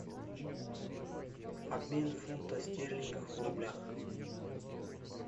обмен фунта стерлингов в рублях